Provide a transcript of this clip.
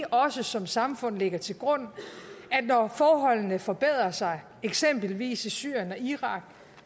også som samfund lægger til grund at når forholdene forbedrer sig eksempelvis i syrien og irak